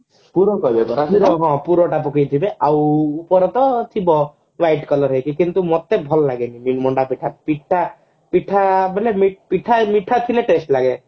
ହଁ ପୁରଟା ପକେଇଥିବେ ଆଉ ଉପରେ ରେ ଥିବ white color ହେଇକି କିନ୍ତୁ ମତେ ଭଲ ଲାଗେନି ମଣ୍ଡା ପିଠା ପିଠା ପିଠା ବୋଇଲେ ପିଠା ମିଠା ଥିଲେ test ଲାଗେ